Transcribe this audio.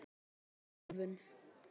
Hvað er ofþjálfun?